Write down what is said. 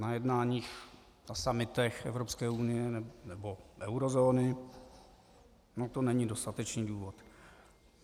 Na jednáních, na summitech Evropské unie nebo eurozóny - no to není dostatečný důvod.